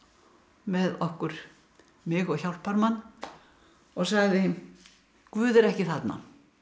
með okkur mig og hjálparmann og sagði Guð er ekki þarna